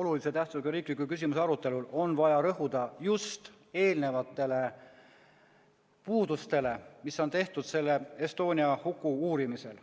olulise tähtsusega riikliku küsimuse arutelul on vaja rõhuda just eelnenud puudustele, mis on tehtud Estonia huku uurimisel.